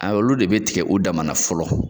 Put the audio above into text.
A olu de bɛ tigɛ u dama na fɔlɔ.